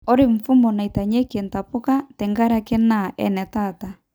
Ore mfumo naitanyekii ntapuka tenkare naa enetaata